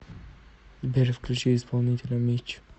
сбер включи исполнителя митч